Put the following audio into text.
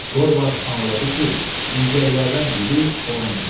Dorvard anladı ki, ilgəklərdən biri onun üçündür.